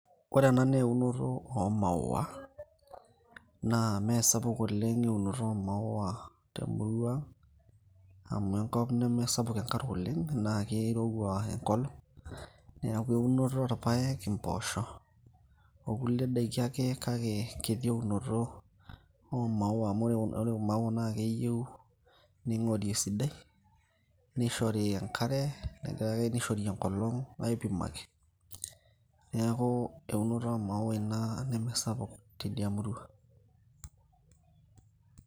Ore ena naa eunoto oomaua naa meesapuk oleng' eunoto oomaua te murrua aang' amu enkop nemesapuk enkare oleng' naa kirowua enkolong' , neeku eunoto orpaek, impoosho okulie daiki ake kake kiti eunoto oomaua amu ore imaua naa keyieu ning'ori esidai nishori enkare kake nishori enkolong' , aipimaki neeku eunoto oomaua ena nemesapuk tidia murua.